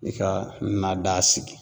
I ka na daa sigi.